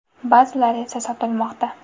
Ba’zilari esa sotilmoqda”.